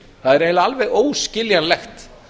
það er eiginlega alveg óskiljanlegt